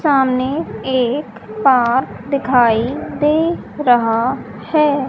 सामने एक पार्क दिखाई दे रहा है।